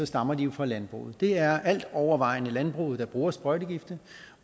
stammer de jo fra landbruget det er altovervejende landbruget der bruger sprøjtegifte